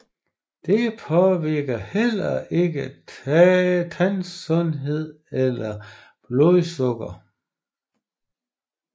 Det påvirker heller ikke tandsundhed eller blodsukker